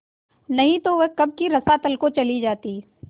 नहीं तो वह कब की रसातल को चली जाती